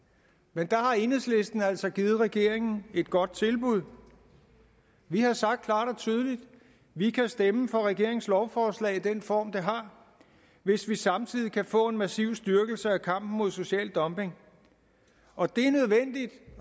men der har enhedslisten altså givet regeringen et godt tilbud vi har sagt at vi kan stemme for regeringens lovforslag i den form det har hvis vi samtidig kan få en massiv styrkelse af kampen mod social dumping og det